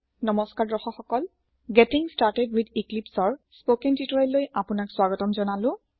নমস্কাৰ দৰ্শক সকল গেটিং ষ্টাৰ্টেড ৱিথ Eclipseৰ স্পকেন টিউটৰিয়েললৈ আপোনাক স্ৱাগতম জনালো